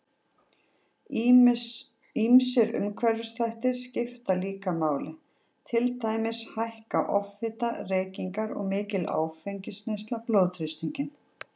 Ýmsir umhverfisþættir skipta líka máli, til dæmis hækka offita, reykingar og mikil áfengisneysla blóðþrýstinginn.